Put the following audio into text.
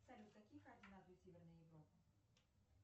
салют какие координаты у северной европы